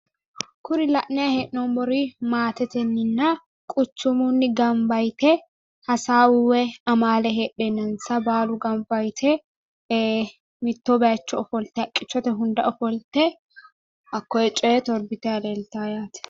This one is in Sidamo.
Kuri la'nayi hee'noommori maatetenninna quchchumunni gamba yite hasaawu woyi amaale heedhennansa baalu gamba yite mitto bayiichcho ofolte haqqichchote hunda ofolte hakkoye coyee torbitayi leeltawo yaate.